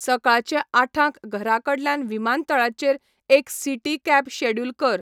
सकाळचें आठांक घराकडल्यान विमानतळाचेर एक सिटी कॅब शॅड्युल कर